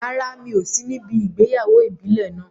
Rárá, mi ò sí níbi ìgbéyàwó ìbílẹ̀ náà.